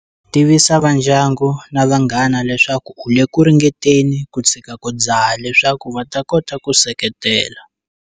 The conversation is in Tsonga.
Tivisa vandyangu na vanghana leswaku u le ku ringeteni ku tshika ku dzaha leswaku va ta kota ku seketela.